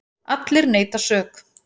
Allir neita sök.